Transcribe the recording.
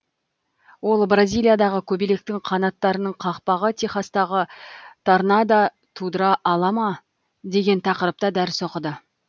ол бразилиядағы көбелектің қанаттарының қақпағы техастағы торнада тудыра ала ма деген тақырыпта дәріс оқыды